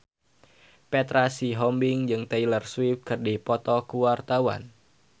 Petra Sihombing jeung Taylor Swift keur dipoto ku wartawan